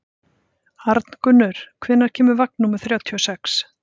Arngunnur, hvenær kemur vagn númer þrjátíu og sex?